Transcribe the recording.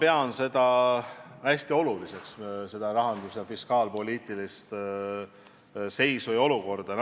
Ma pean riigi rahanduslikku seisu ja fiskaalpoliitikat väga oluliseks.